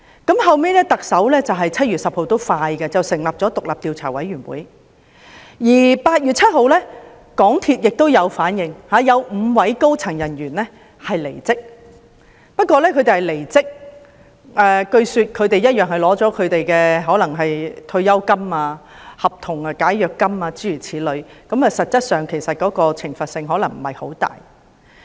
特首後來在7月10日成立了獨立調查委員會，而香港鐵路有限公司在8月7日亦作出回應，有5位高層人員離職，但據說他們仍然領取了退休金、解約金等，實質上懲罰可能不太大。